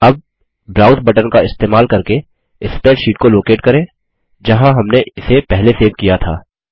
अब browse button का इस्तेमाल करके स्प्रैडशीट को लोकेट करें जहाँ हमने इसे पहले सेव किया था